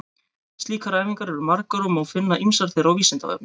Slíkar æfingar eru margar og má finna ýmsar þeirra á Vísindavefnum.